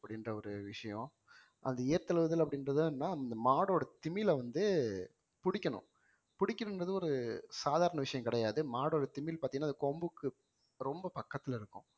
அப்படின்ற ஒரு விஷயம் அந்த ஏறு தழுவுதல் இதில அப்படின்றது என்னன்னா அந்த மாடோட திமிலை வந்து புடிக்கணும் புடிக்கணுங்கிறது ஒரு சாதாரண விஷயம் கிடையாது மாடோட திமில் பார்த்தீங்கன்னா அது கொம்புக்கு ரொம்ப பக்கத்துல இருக்கும்